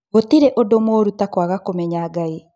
Gũtirĩ ũndũ mũũru ta kwaga kũmenya Ngai